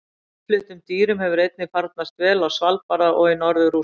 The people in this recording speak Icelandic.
Innfluttum dýrum hefur einnig farnast vel á Svalbarða og í norður Rússlandi.